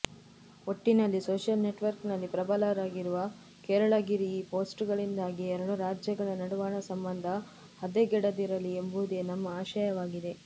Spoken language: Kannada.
ಒಟ್ಟಿನಲ್ಲಿ ಸೋಷಿಯಲ್ ನೆಟ್ವರ್ಕ್ನಲ್ಲಿ ಪ್ರಬಲರಾಗಿರುವ ಕೇರಳಗಿರ ಈ ಪೋಸ್ಟ್ಗಳಿಂದಾಗಿ ಎರಡು ರಾಜ್ಯಗಳ ನಡುವಣ ಸಂಬಂಧ ಹದೆಗೆಡದಿರಲಿ ಎಂಬುದೇ ನಮ್ಮ ಆಶಯವಾಗಿದೆ